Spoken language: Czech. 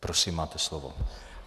Prosím, máte slovo.